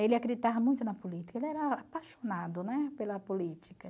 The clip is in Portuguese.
Ele acreditava muito na política, ele era apaixonado, né, pela política.